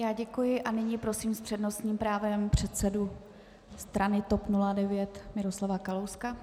Já děkuji a nyní prosím s přednostním právem předsedu strany TOP 09 Miroslava Kalouska.